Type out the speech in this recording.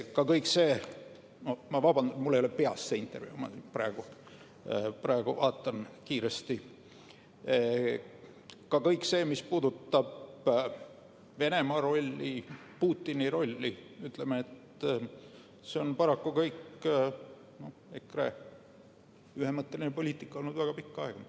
Ka kõik see – vabandust, mul ei ole see intervjuu peas, ma praegu vaatan kiiresti –, mis puudutab Venemaa rolli, Putini rolli, on paraku olnud EKRE ühemõtteline poliitika väga pikka aega.